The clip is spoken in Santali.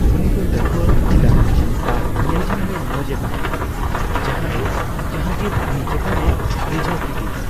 ᱩᱱᱤ ᱫᱚ ᱞᱟᱹᱴᱷᱩᱣᱟᱹ, ᱟᱹᱠᱤᱞᱟᱱ ᱟᱨ ᱧᱮᱞᱡᱚᱝ ᱨᱮ ᱢᱚᱡᱼᱮ ᱛᱟᱦᱮᱠᱟᱱᱟ, ᱡᱟᱦᱟ ᱫᱚ ᱡᱟᱦᱟᱝᱜᱤᱨ ᱩᱱᱤ ᱪᱮᱛᱟᱱᱮ ᱨᱤᱡᱷᱟᱹᱣ ᱠᱤᱫᱤᱭᱟ ᱾